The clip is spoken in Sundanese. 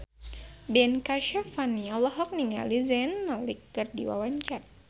Ben Kasyafani olohok ningali Zayn Malik keur diwawancara